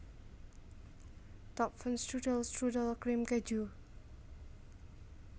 Topfenstrudel strudel krim keju